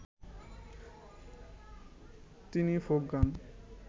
তিনি ফোক গান